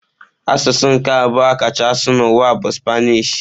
Asụsụ nke abụọ a kacha asụ n'ụwa bụ Spanish.